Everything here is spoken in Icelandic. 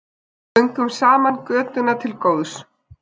Göngum saman götuna til góðs.